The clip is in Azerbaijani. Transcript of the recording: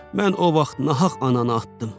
Mən o vaxt nahaq ananı atdım.